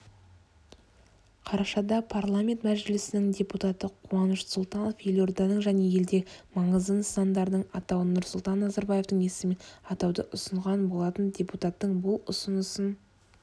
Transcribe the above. қарашада парламент мәжілісінің депутаты қуаныш сұлтанов елорданың және елдегі маңызды нысандардың атауын нұрсұлтан назарбаевтың есімімен атауды ұсынған болатын депутаттың бұл ұсынысын